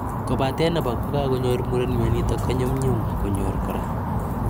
Kobate nepo kagonyor muren mionitok konyum nyum konyor kora.